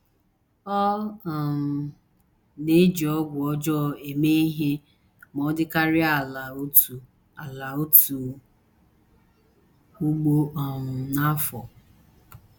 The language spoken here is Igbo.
Ọ um na - eji ọgwụ ọjọọ eme ihe ma ọ dịkarịa ala otu ala otu ugbo um n’afọ.